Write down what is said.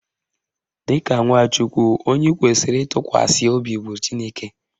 Dịka nwa Chukwu, onye ị kwesịrị ịtụkwasị obi bụ Chineke